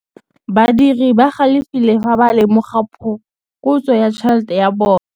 Badiri ba galefile fa ba lemoga phokotsô ya tšhelête ya bone.